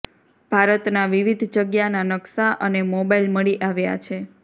ભારતના વિવિધ જગ્યાના નકશા અને મોબાઇલ મળી આવ્યા છે